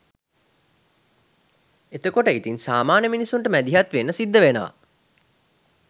එතකොට ඉතින් සාමාන්‍ය මිනිස්සුන්ට මැදිහත් වෙන්න සිද්ධ වෙනවා